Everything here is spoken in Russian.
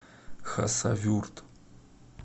хасавюрт